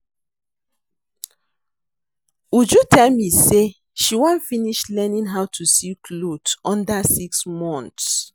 Uju tell me say she wan finish learning how to sew cloth under six month